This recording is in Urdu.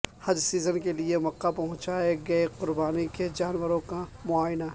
حج سیزن کے لیے مکہ پہنچائے گئے قربانی کے جانوروں کا معائنہ